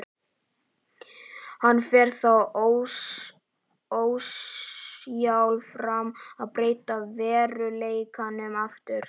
Hann fer þá ósjálfrátt að breyta veruleikanum aftur.